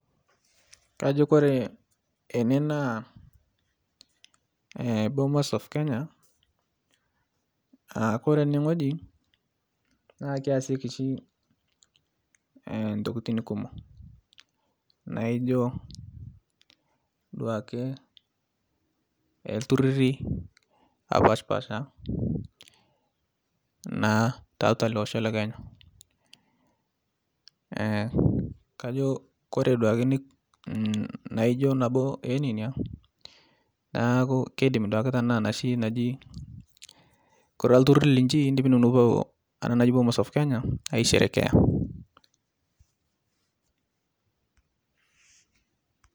Kajo kore ene naa bomas of Kenya aa kore enewueji naa keyasieki oshi intokitin kumok naijo duoake iltururi oopaasha naa tiatua ele osho le Kenya kajo ore duoka nabo oo neinia naaji koree turur line pee kipuo naaji bomas of Kenya aisherekea